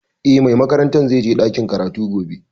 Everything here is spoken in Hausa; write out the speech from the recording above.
Eh, mai makarantar zai je ɗakin karatu gobe